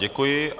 Děkuji.